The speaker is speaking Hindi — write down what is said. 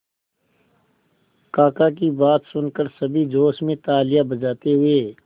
काका की बात सुनकर सभी जोश में तालियां बजाते हुए